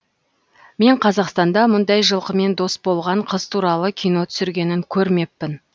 мен қазақстанда мұндай жылқымен дос болған қыз туралы кино түсіргенін көрмеппін